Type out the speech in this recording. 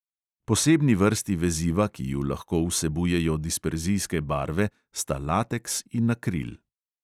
Posebni vrsti veziva, ki ju lahko vsebujejo disperzijske barve, sta lateks in akril.